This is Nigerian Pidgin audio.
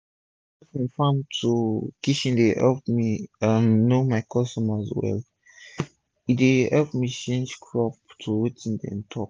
dis direct from farm to kitchen e deyepp me um know my customer well and e dey epp me change crop to wetin dem talk